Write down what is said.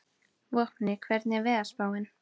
Vopni, hvernig er veðurspáin?